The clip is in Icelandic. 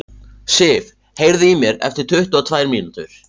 Sif, heyrðu í mér eftir tuttugu og tvær mínútur.